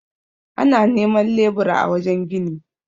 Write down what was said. ana neman lebura a wajen gini